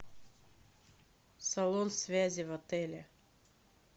салон связи в отеле